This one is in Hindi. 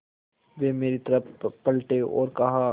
वे मेरी तरफ़ पलटे और कहा